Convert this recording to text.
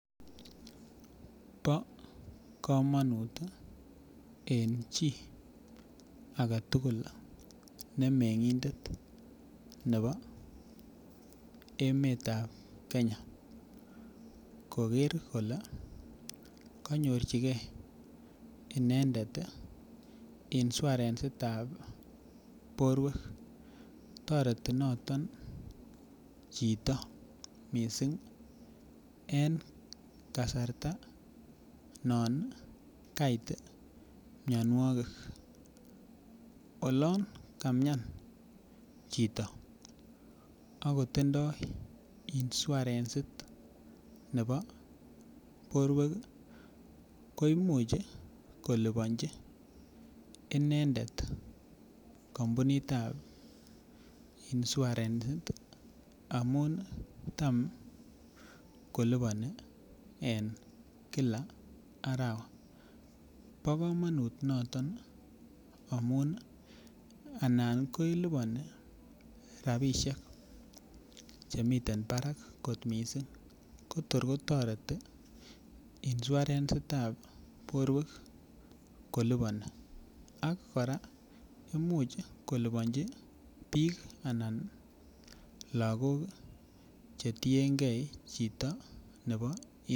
Bo komonut en chii agetugul ne mengindet nebo emet ab Kenya koker kole konyorchigee inendet insuarensit ab borwek toreti noton chito missing en kasarta non kait mionwogik olon kamian chito akotindoo insuarensit nebo borwek ih koimuch koliponji inendet kampunit ab insuarensit amun tam koliboni en kila arawa bo komonut noton amun anan keleboni rapisiek chemiten barak kot missing ko tor kotoreti insuarensit ab borwek koliboni ak kora imuch koliponji biik anan lakok chetiengei chito nebo